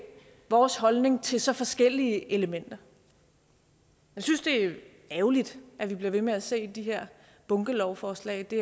vores holdning til så forskellige elementer jeg synes det er ærgerligt at vi bliver ved med at se de her bunkelovforslag det